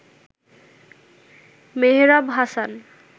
Mehrab Hasan